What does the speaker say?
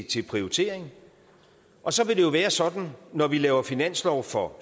til prioritering og så vil det jo være sådan når vi laver finanslov for